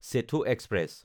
Setu express